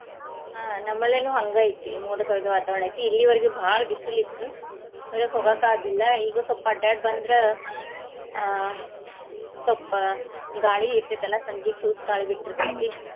ಅಹ್ ನಮ್ಮಲ್ಲಿನು ಹಂಗ ಐತಿ ಮೋಡ ಕವಿದ ವಾತಾವರಣ ಐತಿ ಇಲ್ಲಿವರ್ಗು ಬಾಳ ಬಿಸಲ್ ಇತ್ತು ಹೊರಗ ಹೋಗಾಕಾಗ್ಲಿಲ್ಲಾ ಈಗ ಸ್ವಪ್ಪ ಅಡ್ಯಾಡಿ ಬಂದ್ರ ಅಹ್ ಸ್ವಪ್ ಗಾಳಿ ಇರ್ತೆತಿಲ್ಲಾ ಸಂಜೀಕ್ ಸೂಸ್ ಗಾಳಿ ಬಿಟ್ಟಿರ್ತೆತಿ .